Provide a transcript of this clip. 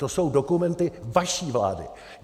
To jsou dokumenty vaší vlády.